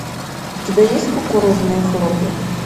у тебя есть кукурузные хлопья